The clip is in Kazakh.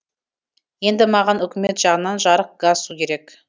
енді маған үкімет жағынан жарық газ су керек